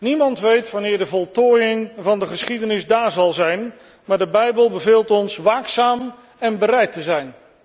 Niemand weet wanneer de voltooiing van de geschiedenis daar zal zijn, maar de bijbel beveelt ons waakzaam en bereid te zijn.